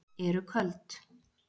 Eru köld